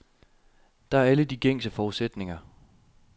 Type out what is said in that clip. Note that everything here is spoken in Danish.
Der er alle de gængse forudsætninger.